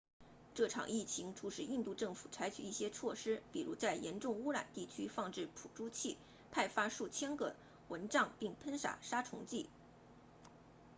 这场疫情促使印度政府采取一些措施比如在严重感染地区放置捕猪器派发数千个蚊帐并喷洒杀虫剂